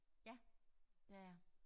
Ja det er jeg